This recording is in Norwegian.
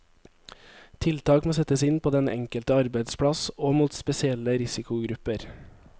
Tiltak må settes inn på den enkelte arbeidsplass, og mot spesielle risikogrupper.